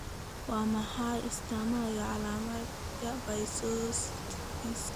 Waa maxay astamaha iyo calaamadaha Pycnodysostosiska?